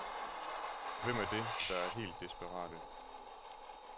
Hvem er det, der er helt desperate?